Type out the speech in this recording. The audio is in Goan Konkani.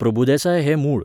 प्रभुदेसाय हें मूळ